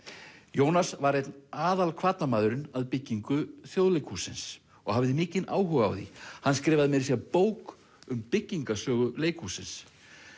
Jónas var einn aðal hvatamaðurinn að byggingu Þjóðleikhússins og hafði mikinn áhuga á því hann skrifaði meira að segja bók um byggingarsögu leikhússins